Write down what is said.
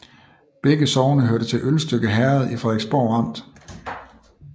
Begge sogne hørte til Ølstykke Herred i Frederiksborg Amt